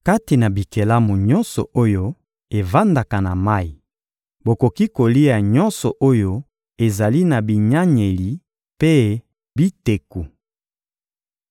Kati na bikelamu nyonso oyo evandaka na mayi, bokoki kolia nyonso oyo ezali na binyanyeli mpe biteku.